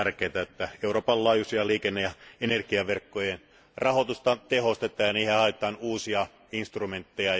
On tärkeätä, että Euroopan laajuisten liikenne ja energiaverkkojen rahoitusta tehostetaan ja niihin haetaan uusia instrumentteja.